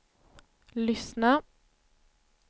lyssna